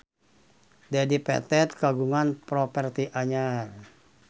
Dedi Petet kagungan properti anyar